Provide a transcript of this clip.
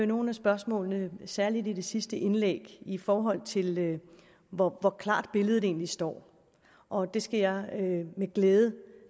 nogle af spørgsmålene særlig i det sidste indlæg i forhold til hvor klart billedet egentlig står og det skal jeg med glæde